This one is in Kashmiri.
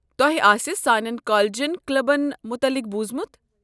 تۄہہ آسہ سٲنٮ۪ن کالجن کلبن متعلق بوٗزمُت۔